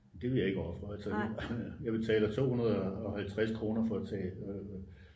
det vil jeg ikke ofre altså jeg betaler 250 for at tage